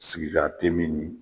Sigikatemin nin.